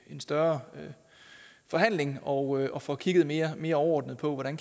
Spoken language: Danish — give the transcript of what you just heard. en større forhandling og og får kigget mere mere overordnet på hvordan